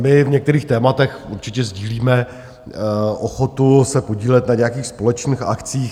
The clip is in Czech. My v některých tématech určitě sdílíme ochotu se podílet na nějakých společných akcích.